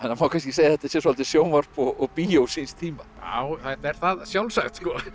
má kannski segja að þetta sé svolítið sjónvarp og bíó síns tíma já þetta er það sjálfsagt